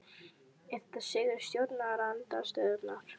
Er þetta sigur stjórnarandstöðunnar?